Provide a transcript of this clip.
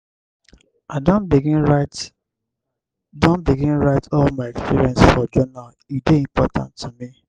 i don begin write don begin write all my experience for journal e dey important to me.